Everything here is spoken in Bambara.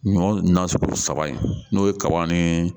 Ɲɔ na sugu saba in n'o ye kaba ni